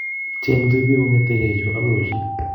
chemuti bik kongete yu akoi olin